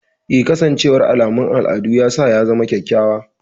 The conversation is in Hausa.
Eh, kasancewar alamun al'adu ya sa ya zama kyakkyawa.